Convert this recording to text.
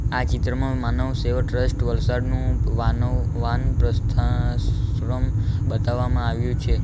આ ચિત્રમાં માનવસેવા ટ્રસ્ટ વલસાડનું વાન્ વાનપ્રસ્થાશ્રમ બતાવવામાં આવ્યું છે.